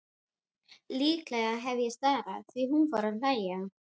Líklega hef ég starað því hún fór að hlæja.